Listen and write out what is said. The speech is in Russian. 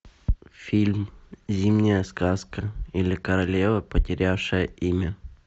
фильм зимняя сказка или королева потерявшая имя